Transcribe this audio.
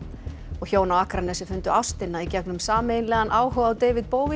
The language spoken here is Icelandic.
hjón á Akranesi fundu ástina í gegnum sameiginlegan áhuga á David